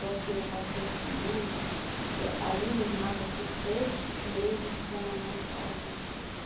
Porque eu passei com mamãe, a minha irmã passou seis meses com a mamãe em casa, né?